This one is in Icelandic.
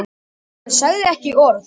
Hann sagði ekki orð.